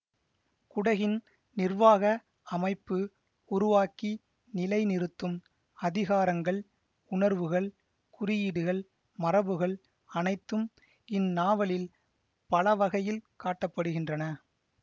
குடகின் நிர்வாக அமைப்பு உருவாக்கி நிலை நிறுத்தும் அதிகாரங்கள் உணர்வுகள் குறியீடுகள் மரபுகள் அனைத்தும் இந்நாவலில் பலவகையில் காட்ட படுகின்றன